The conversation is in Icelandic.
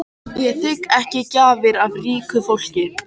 Ég þigg ekki gjafir af ríku fólki.